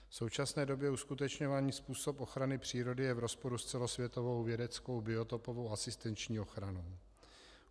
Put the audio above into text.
V současné době uskutečňovaný způsob ochrany přírody je v rozporu s celosvětovou vědeckou biotopovou asistenční ochranou.